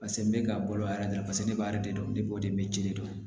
Paseke n bɛ ka bolo yɛrɛ dɔrɔn ne b'a de dɔn ne b'o de jeli dɔn